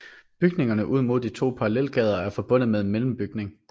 Bygningerne ud mod de to parallelgader er forbundet med en mellembygning